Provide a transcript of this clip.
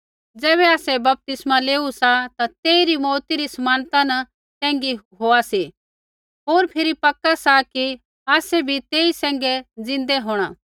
ज़ैबै आसै बपतिस्मा लेआ सी ता तेइरी मौऊती री समानता न सैंघी होआ सी होर फिरी पक्का सा कि आसै बी तेई सैंघै ज़िन्दा होंणा